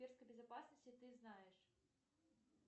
безопасности ты знаешь